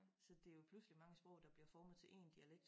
Så det jo pludselig mange sprog der bliver formet til én dialekt